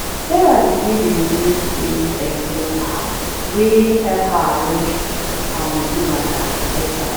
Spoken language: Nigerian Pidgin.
sarah begin dey use daily expense app wey help her arrange her money matter better